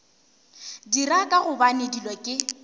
dira ka gobane dilo ke